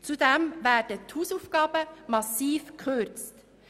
Zudem werden die Hausaufgaben massiv reduziert.